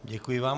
Děkuji vám.